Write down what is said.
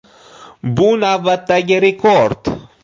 Bu navbatdagi rekord.